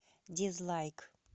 дизлайк